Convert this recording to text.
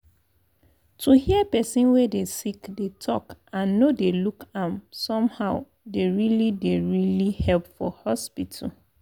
to hear person wey dey sick dey talk and no dey look am somehow dey really dey really help for hospital.